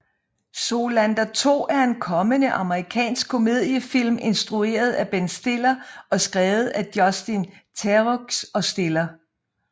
Zoolander 2 er en kommende amerikansk komediefilm instrueret af Ben Stiller og skrevet af Justin Theroux og Stiller